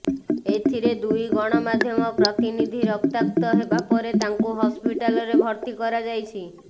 ଏଥିରେ ଦୁଇ ଗଣମାଧ୍ୟମ ପ୍ରତନିଧି ରକ୍ତାକ୍ତ ହେବା ପରେ ତାଙ୍କୁ ହସ୍ପିଟାଲରେ ଭର୍ତ୍ତି କରାଯାଇଛି